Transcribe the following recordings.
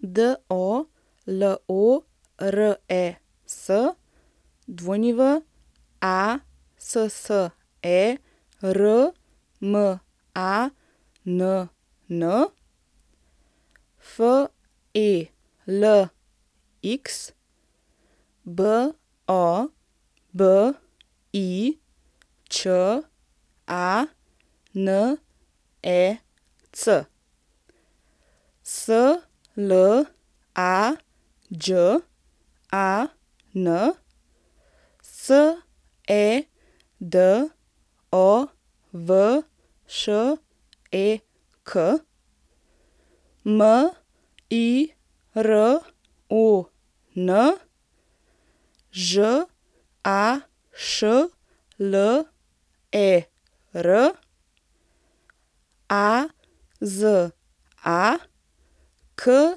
Dolores Wassermann, Felix Bobičanec, Slađan Sedovšek, Miron Žašler, Aza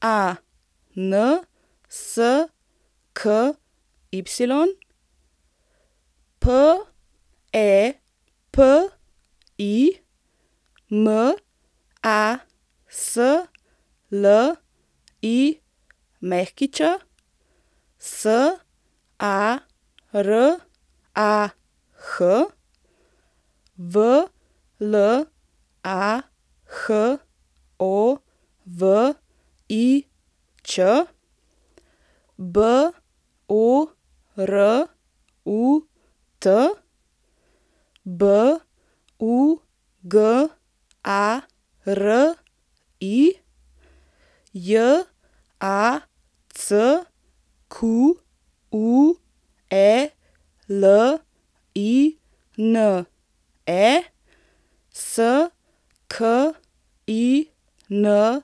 Kansky, Pepi Maslić, Sarah Vlahovič, Borut Bugari, Jacqueline Skinder.